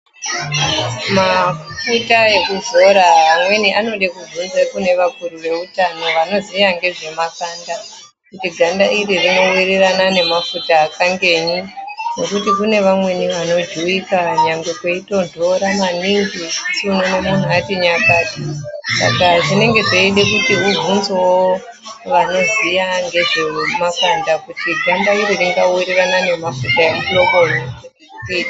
Mafuta ekuzora amweni anode kubvunza kune vakuru veutono anoziya ngezvemakanda. Kuti ganda iri rinowirirana nemafuta akangenyi ngekuti kune vamweni vanojuwika kunyangwe kweitonhora maningi owona anenge ati nyakata! Saka zvinenge zveide kuti ubvunzewo vanoziya ngezvemakanda kuti ganda iri ringawirirana nemafuta emuhloboyi.